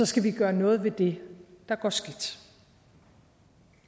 skal vi gøre noget ved det der går skidt